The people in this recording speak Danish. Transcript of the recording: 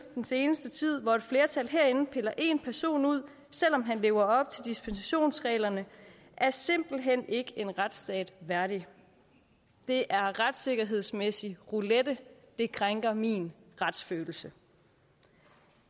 den seneste tid hvor et flertal herinde piller en person ud selv om han lever op til dispensationsreglerne er simpelt hen ikke en retsstat værdigt det er retssikkerhedsmæssig roulette og det krænker min retsfølelse